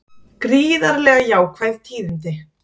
Gríðarlega jákvæð tíðindi